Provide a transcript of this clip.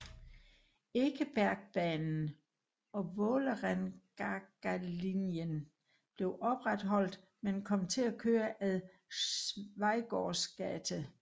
Ekebergbanen og Vålerengagalinjen blev opretholdt men kom til at køre ad Schweigaards gate